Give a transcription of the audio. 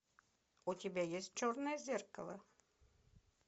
у тебя есть черное зеркало